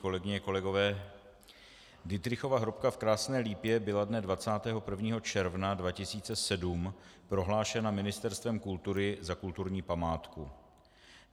Kolegyně, kolegové, Dittrichova hrobka v Krásné Lípě byla dne 21. června 2007 prohlášena Ministerstvem kultury za kulturní památku.